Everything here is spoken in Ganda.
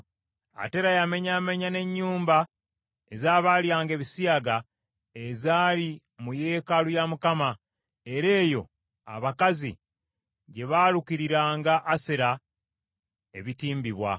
Ate era yamenyaamenya n’ennyumba ez’abaalyanga ebisiyaga ezaali mu yeekaalu ya Mukama , era eyo abakazi gye baalukiriranga Asera ebitimbibwa.